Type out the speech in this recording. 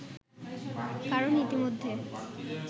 কারণ ইতিমধ্যে